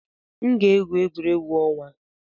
M ga na-egwu egwuregwu ọnwa.